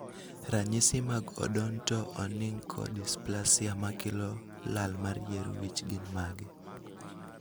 ranyisi mag Odonto onycho dysplasia makelo lal mar yier wich gin mage?